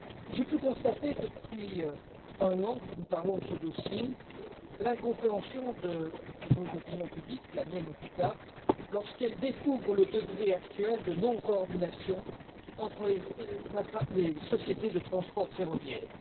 J'ai pu constater, depuis un an que nous parlons de ce dossier, l'incompréhension de nos opinions publiques, de la mienne en tout cas, lorsqu'elles découvrent le degré actuel de non coordination entre les sociétés de transport ferroviaire.